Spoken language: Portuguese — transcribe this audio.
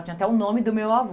Tinha até o nome do meu avô.